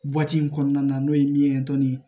in kɔnɔna na n'o ye min ye dɔɔnin